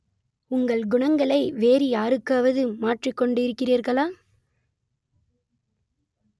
உங்கள் குணங்களை வேறு யாருக்காவது மாற்றிக் கொண்டிருக்கிறீர்களா